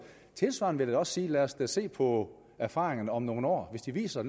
tilsvarende vil jeg også sige lad os da se på erfaringerne om nogle år hvis det viser